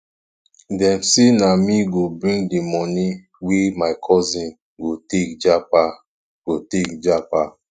dem sey na me go bring di moni wey my cousin go take japa go take japa